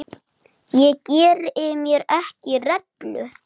Við vorum bara að njósna,